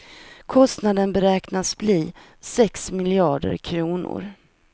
Kostnaden beräknas bli sex miljarder kronor.